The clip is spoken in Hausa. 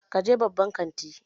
Ka je babban kanti!